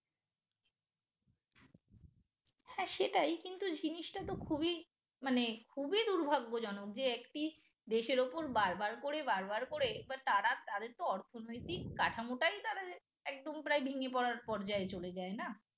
হ্যাঁ সেটাই কিন্তু জিনিসটা তো খুবই মানে খুবই দুর্ভাগ্যজনক যে একটি দেশের ওপর বারবার করে বারবার করে এবার তারা তাদের তো অর্থনৈতিক কাঠামোটাই তারা যে একদম প্রায় ভেঙে পড়ার পর্যায়ে চলে যায় না